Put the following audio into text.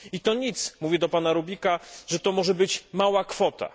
I to nic zwracam się do Pana Rubiksa że to może być mała kwota.